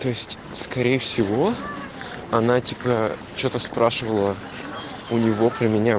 то есть скорее всего она типа что-то спрашивала у него про меня